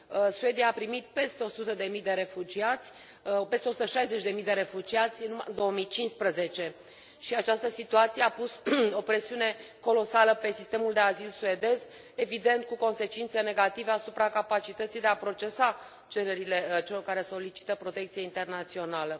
Suedia a primit peste 160 de mii de refugiați numai în 2015 și această situație a pus o presiune colosală pe sistemul de azil suedez, evident cu consecințe negative asupra capacității de a procesa cererile celor care solicită protecție internațională.